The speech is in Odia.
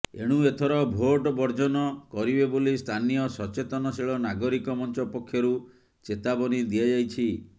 ଏଣୁ ଏଥର ଭୋଟ ବର୍ଜ୍ଜନ କରିବେ ବୋଲି ସ୍ଥାନୀୟ ସଚେତନଶୀଳ ନାଗରିକ ମଞ୍ଚ ପକ୍ଷରୁ ଚେତାବନୀ ଦିଆଯାଇଛି